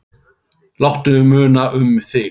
Láttu muna um þig.